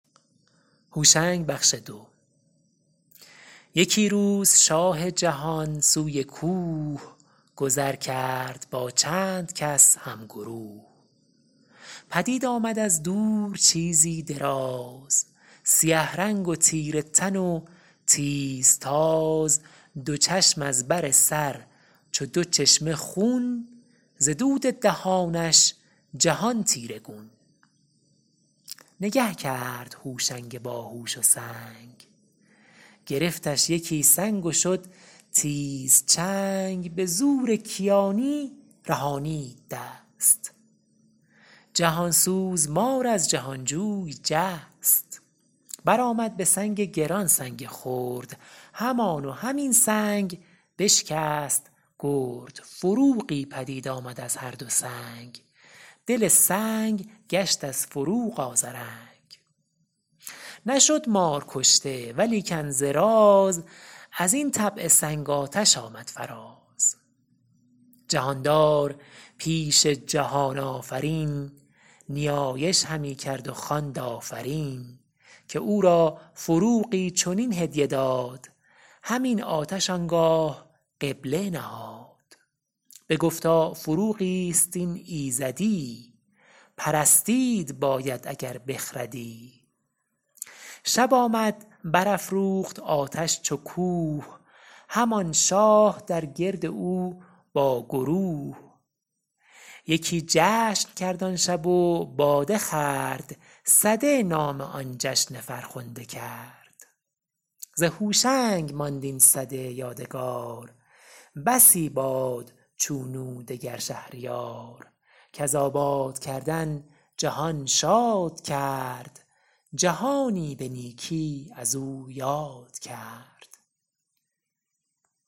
یکی روز شاه جهان سوی کوه گذر کرد با چند کس هم گروه پدید آمد از دور چیزی دراز سیه رنگ و تیره تن و تیز تاز دو چشم از بر سر چو دو چشمه خون ز دود دهانش جهان تیره گون نگه کرد هوشنگ باهوش و سنگ گرفتش یکی سنگ و شد تیز چنگ به زور کیانی رهانید دست جهان سوز مار از جهان جوی جست بر آمد به سنگ گران سنگ خرد همان و همین سنگ بشکست گرد فروغی پدید آمد از هر دو سنگ دل سنگ گشت از فروغ آذرنگ نشد مار کشته ولیکن ز راز از این طبع سنگ آتش آمد فراز جهاندار پیش جهان آفرین نیایش همی کرد و خواند آفرین که او را فروغی چنین هدیه داد همین آتش آنگاه قبله نهاد بگفتا فروغی است این ایزدی پرستید باید اگر بخردی شب آمد بر افروخت آتش چو کوه همان شاه در گرد او با گروه یکی جشن کرد آن شب و باده خورد سده نام آن جشن فرخنده کرد ز هوشنگ ماند این سده یادگار بسی باد چون او دگر شهریار کز آباد کردن جهان شاد کرد جهانی به نیکی از او یاد کرد